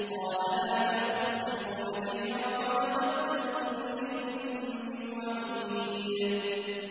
قَالَ لَا تَخْتَصِمُوا لَدَيَّ وَقَدْ قَدَّمْتُ إِلَيْكُم بِالْوَعِيدِ